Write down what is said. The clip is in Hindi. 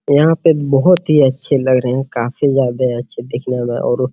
यहाँ पे बहुत ही अच्छे लग रहे है काफी ज्यादे अच्छे दिखने में और --